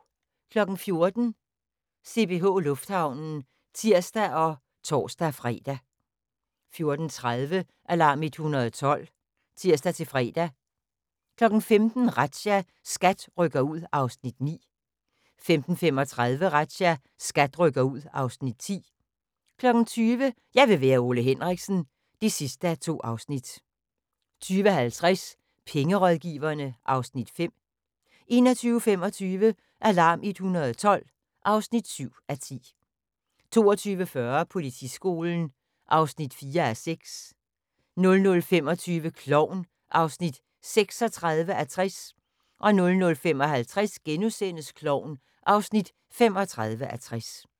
14:00: CPH Lufthavnen (tir og tor-fre) 14:30: Alarm 112 (tir-fre) 15:00: Razzia – SKAT rykker ud (Afs. 9) 15:35: Razzia – SKAT rykker ud (Afs. 10) 20:00: Jeg vil være Ole Henriksen (2:2) 20:50: Pengerådgiverne (Afs. 5) 21:25: Alarm 112 (7:10) 22:40: Politiskolen (4:6) 00:25: Klovn (36:60) 00:55: Klovn (35:60)*